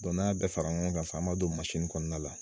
Dɔnku n'a y'a bɛ fara ɲɔgɔn kan sisan, an b'a don masin kɔnɔna la.